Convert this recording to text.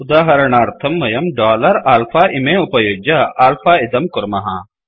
उदाहरणार्थं वयं dollar alpha इमे उपयुज्य आल्फा इदं कुर्मः